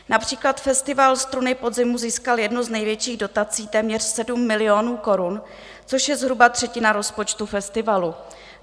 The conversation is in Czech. Například festival Struny podzimu získal jednu z největších dotací, téměř 7 milionů korun, což je zhruba třetina rozpočtu festivalu.